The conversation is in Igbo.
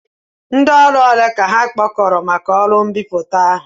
Ndị ọrụ ole ka ha kpọkọrọ maka ọrụ mbipụta ahụ?